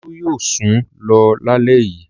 Olú yóò sùn lọ lálẹ́ yìí.